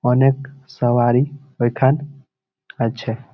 অনেক সওয়ারি বৈঠান আছে।